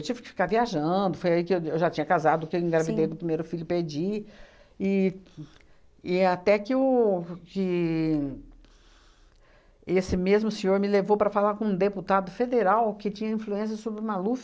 tive que ficar viajando, foi aí que eu eu já tinha casado, que eu engravidei do primeiro filho, perdi, e e até que o que esse mesmo senhor me levou para falar com um deputado federal que tinha influência sobre o Maluf.